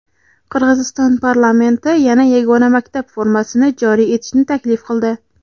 Qirg‘iziston parlamenti yana yagona maktab formasini joriy etishni taklif qildi.